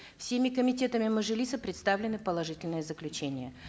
всеми комитетами мажилиса представлены положительные заключения